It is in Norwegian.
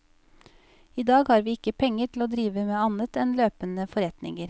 I dag har vi ikke penger til å drive med annet enn løpende forretninger.